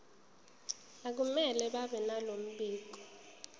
akumele babenalo mbiko